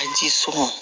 A ji sɔn